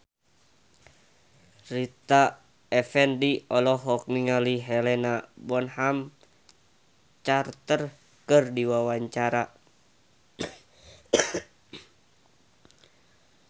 Rita Effendy olohok ningali Helena Bonham Carter keur diwawancara